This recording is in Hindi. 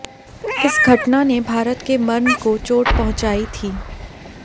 इस घटना ने भारत के मर्म को चोट पहुंचायी थी